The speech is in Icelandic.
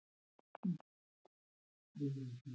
Ég fór á námskeið hjá Sigurði Geir, þú kannast kannski við hann?